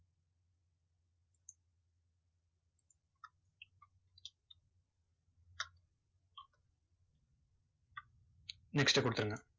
next கொடுத்திருங்க.